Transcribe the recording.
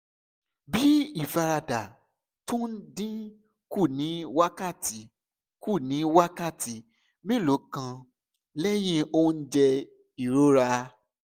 bí ìfaradà tó ń dín kù ní wákàtí kù ní wákàtí mélòó kan lẹ́yìn oúnjẹ ìrora